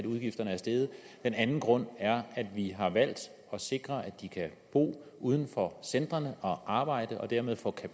udgifterne er steget den anden grund er at vi har valgt at sikre at de kan bo uden for centrene og arbejde og dermed få